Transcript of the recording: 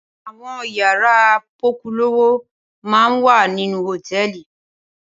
Awòn iyàrá pòkúlówó è má n wá ninú hótèlí